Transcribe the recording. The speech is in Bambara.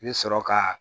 I bɛ sɔrɔ ka